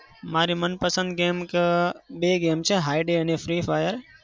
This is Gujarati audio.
મારી મનપસંદ game છે બે game છે Hay Day અને Free Fire